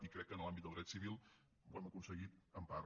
i crec que en l’àmbit del dret civil ho hem aconseguit en part